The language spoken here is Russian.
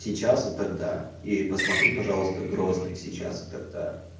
сейчас и тогда и посмотри пожалуйста грозный сейчас и тогда